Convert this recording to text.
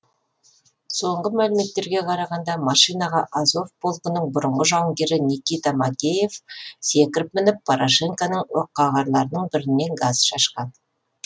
соңғы мәліметтерге қарағанда машинаға азов полкінің бұрынғы жауынгері никита макеев секіріп мініп порошенконың оққағарларының бетіне газ шашқан